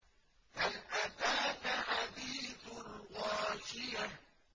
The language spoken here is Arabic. هَلْ أَتَاكَ حَدِيثُ الْغَاشِيَةِ